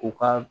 U ka